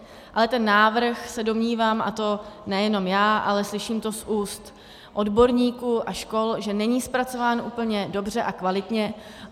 Ale ten návrh, se domnívám, a to nejenom já, ale slyším to z úst odborníků a škol, že není zpracován úplně dobře a kvalitně.